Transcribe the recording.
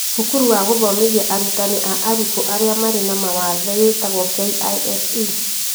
Cukuru wa gũthomithia arutani a arutwo arĩa marĩ na mawathe wĩtwagwo KISE